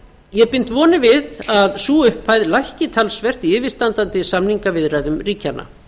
ég bind vonir við að sú upphæð lækki talsvert í yfirstandandi samningaviðræðum ríkjanna